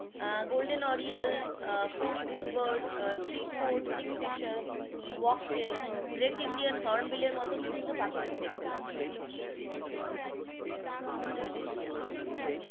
আহ golden oriole, ah পড়ি bull bird, three code, kingfisher, wagtail, great Indian hornbill এর মতো বিভিন্ন পাখি তুমি দেখতে পাবে